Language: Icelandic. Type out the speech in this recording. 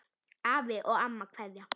Afi og amma kveðja